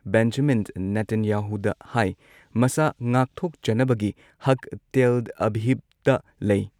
Benjamin ꯅꯦꯇꯥꯟꯌꯥꯍꯨꯗ ꯍꯥꯏ ꯃꯁꯥ ꯉꯥꯛꯊꯣꯛꯆꯅꯕꯒꯤ ꯍꯛ ꯇꯦꯜ ꯑꯚꯤꯚꯇ ꯂꯩ ꯫